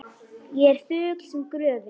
Ég er þögull sem gröfin.